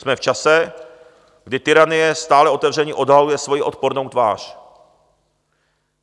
Jsme v čase, kdy tyranie stále otevřeně odhaluje svoji odpornou tvář.